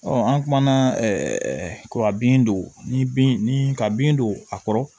an kumana ɛɛ kɔ ka bin don ni bin ni ka bin don a kɔrɔ